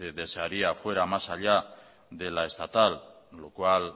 desearía fuera más allá de la estatal lo cual